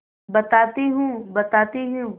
बताती हूँ बताती हूँ